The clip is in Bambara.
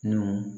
N'u